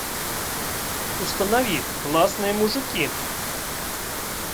установи классные мужики